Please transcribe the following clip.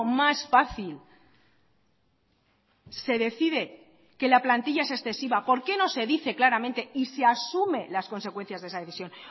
más fácil se decide que la plantilla es excesiva por qué no se dice claramente y se asume las consecuencias de esa decisión